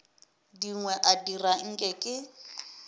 dingwe a dira nke ke